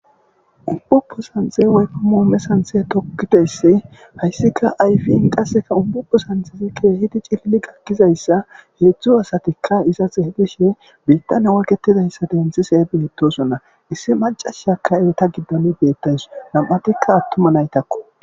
unbubo sanxe woykko moome santhe tokkidessi hayssika ayfiin qasseka umpupo santhezi keehidi cilli gakkizayssa heedzdzu asatikka iza xeeydishe biittan oyketidayssa denthise beettosonna issi macashakka erita giddalu beettays nam7atikka attuma naytakko